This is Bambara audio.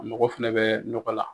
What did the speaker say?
A mako fɛnɛ bɛ nɔgɔ la.